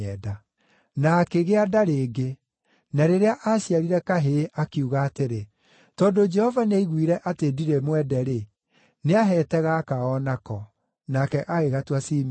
Na akĩgĩa nda rĩngĩ, na rĩrĩa aaciarire kahĩĩ, akiuga atĩrĩ, “Tondũ Jehova nĩaiguire atĩ ndirĩ mwende-rĩ, nĩaheete gaka o nako.” Nake agĩgatua Simeoni.